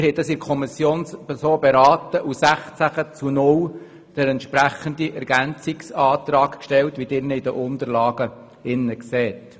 Dies haben wir so in der Kommission beraten und den entsprechenden Ergänzungsantrag mit 16 zu 0 Stimmen gestellt, wie Sie dies den Unterlagen entnehmen.